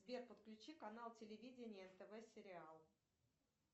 сбер подключи канал телевидения нтв сериал